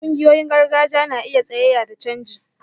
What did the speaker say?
Wasu ƙungiyoyin gargajiya na iya tsayayya da canji